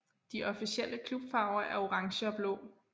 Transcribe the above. De officielle klubfarver er orange og blå